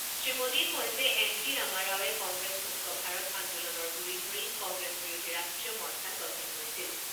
শ্ৰী মোডীয়ে কয় যে এন টি ৰামাৰাওৱে কংগ্ৰেছ মুক্ত ভাৰত আন্দোলনৰ গুৰি ধৰি কংগ্ৰেছ বিৰোধী ৰাষ্ট্ৰীয় মৰ্চা গঠন কৰিছিল।